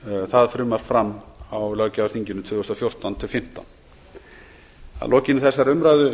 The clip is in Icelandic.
það frumvarp fram á löggjafarþinginu tvö þúsund og fjórtán til tvö þúsund og fimmtán að lokinni þessari umræðu